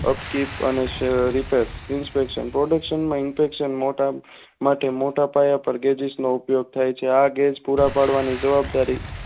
એકિટ અને સેરીતર inspection production માં ઇન્ટેસાન માલ્ટા માટે મોટા પાયા પાર ગેજ઼િશ નો ઉપયોગ થાય છે આ ગેજ પુરા પાડવાની જવાબ દારી